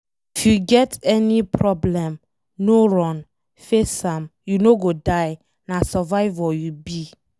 If you get any problem, no run, face am, you no go die na survivor you be